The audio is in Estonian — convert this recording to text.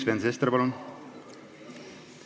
Sven Sester, palun!